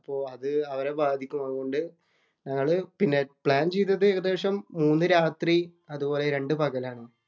അപ്പൊ അത് അവരെ ബാധിക്കും. അതുകൊണ്ട് ഞങ്ങള് പിന്നെ പ്ലാന്‍ ചെയ്തത് ഏകദേശം മൂന്നു രാത്രി അതുപോലെ രണ്ടു പകലാണ്‌.